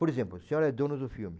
Por exemplo, o senhor é dono do filme.